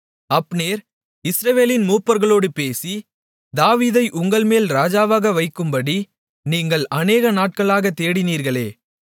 Abner இஸ்ரவேலின் மூப்பர்களோடு பேசி தாவீதை உங்கள்மேல் ராஜாவாக வைக்கும்படி நீங்கள் அநேகநாட்களாகத் தேடினீர்களே